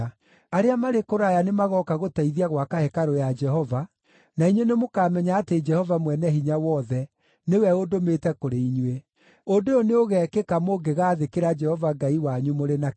Arĩa marĩ kũraya nĩmagooka gũteithia gwaka hekarũ ya Jehova, na inyuĩ nĩmũkamenya atĩ Jehova Mwene-Hinya-Wothe nĩwe ũndũmĩte kũrĩ inyuĩ. Ũndũ ũyũ nĩũgekĩka mũngĩgaathĩkĩra Jehova Ngai wanyu mũrĩ na kĩyo.”